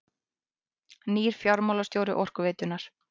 Nýr fjármálastjóri Orkuveitunnar